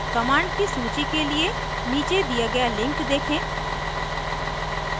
commands की सूची के लिए नीचे दिए गए लिंक देखें